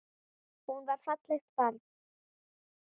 Hún var fallegt barn.